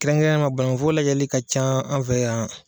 Kɛrɛnkɛrɛnyama bannkun foro lajɛli ka ca an fɛ yan.